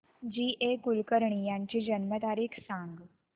जी A Kulkarni यांची जन्म तारीख सांग